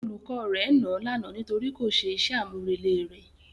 Olùkọ́ rẹ̀ nàá lánàá nítorí kò ṣe iṣẹ́ àmúrelé rẹ̀.